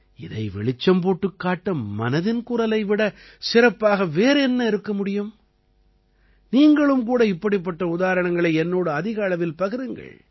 இதை வெளிச்சம் போட்டுக் காட்ட மனதின் குரலை விடச் சிறப்பாக வேறு என்ன இருக்க முடியும் நீங்களும் கூட இப்படிப்பட்ட உதாரணங்களை என்னோடு அதிக அளவில் பகிருங்கள்